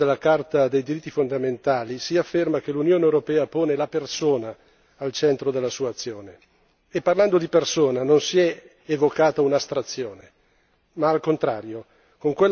Volevo solo sottolineare che nel preambolo della Carta dei diritti fondamentali si afferma che l'Unione europea pone la persona al centro della sua azione e parlando di persona non si è evocata un'astrazione.